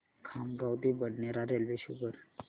खामगाव ते बडनेरा रेल्वे शो कर